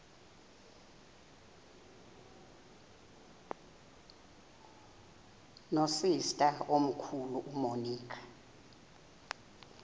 nosister omkhulu umonica